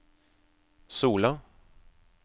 Sola